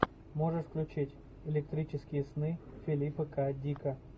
можешь включить электрические сны филипа к дика